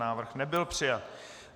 Návrh nebyl přijat.